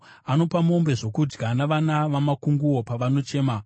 Anopa mombe zvokudya navana vamakunguo pavanochema.